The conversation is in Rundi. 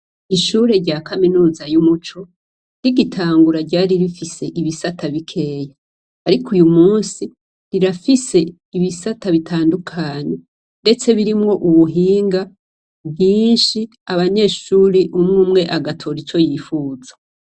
Ishure rya kaminuza yumuco ,rigitangura ryar rifise ibisata bikeyi, ariko uyumunsi rirafise ibisata bitandukanye ndetse birimwo ubuhinga bwinshi abanyeshure muribo umwe agatora ico yifuza.